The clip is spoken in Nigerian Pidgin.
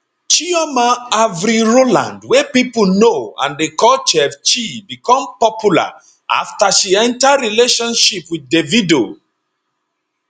chioma avril rowland wey pipo know and dey call chef chi become popular afta she enta relationship wit davido